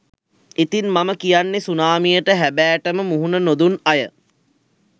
ඉතින් මම කියන්නෙ සුනාමියට හැබෑටම මුහුණ නොදුන් අය